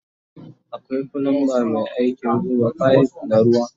Akwai flumba Mai aikin zuba fife na ruwa